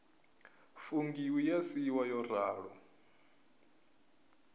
fungiwa ya siiwa yo ralo